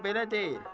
Xeyr, belə deyil.